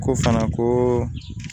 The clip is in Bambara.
Ko fana ko